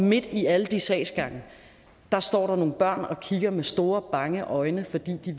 midt i alle de sagsgange står der nogle børn og kigger med store bange øjne fordi de